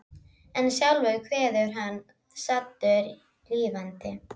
En sjálfur kveður hann saddur lífdaga.